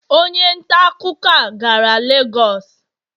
Onye ntaakụkọ a gara Lagos?